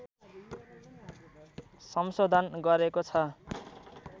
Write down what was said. संशोधन गरेको छ